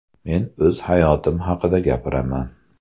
Men o‘z hayotim haqida gapiraman.